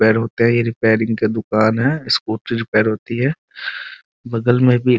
repair होता है ये रिपेरिंग की दुकान है स्कूटी रिपेयर होती है बगल में भी --